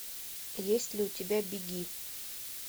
есть ли у тебя беги